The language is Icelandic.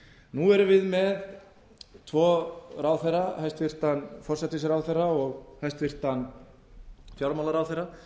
nú erum við með tvo ráðherra hæstvirtur forsætisráðherra og hæstvirtur fjármálaráðherra